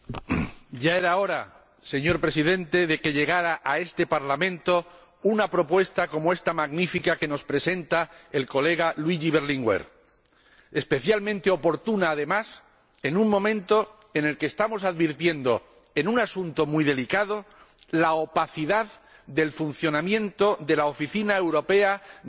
Señor Presidente, ya era hora de que llegara a este Parlamento una propuesta como ésta, magnífica, que nos presenta el colega Luigi Berlinguer. Especialmente oportuna, además, en un momento en el que estamos advirtiendo, en un asunto muy delicado, la opacidad del funcionamiento de la Oficina Europea de Lucha contra el Fraude,